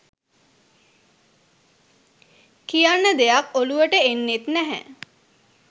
කියන්න දෙයක් ඔලුවට එන්නෙත් නැහැ.